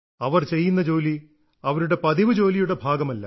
അവർ ചെയ്യുന്ന ജോലി അവരുടെ പതിവ് ജോലിയുടെ ഭാഗമല്ല